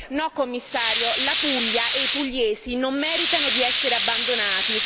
No Commissario, la Puglia e i pugliesi non meritano di essere abbandonati!